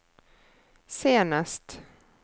senest